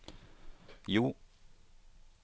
Jo